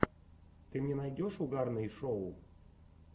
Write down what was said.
ты мне найдешь угарные шоу